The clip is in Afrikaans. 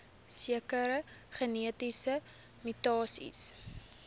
sekere genetiese mutasies